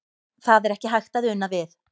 Það er ekki hægt að una við.